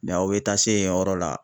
aw bɛ taa se yen yɔrɔ la.